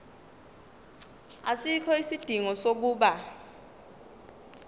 asikho isidingo sokuba